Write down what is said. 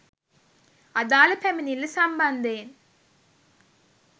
අදාළ පැමිණිල්ල සම්බන්ධයෙන්